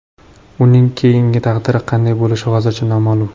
Uning keyingi taqdiri qanday bo‘lishi hozircha noma’lum.